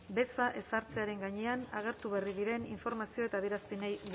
beza ezartzearen gainean agertu berri diren informazio eta adierazpenei